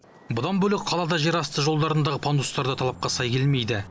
бұдан бөлек қалада жерасты жолдарындағы пандустар да талапқа сай келмейді